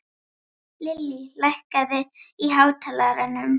Lillý, lækkaðu í hátalaranum.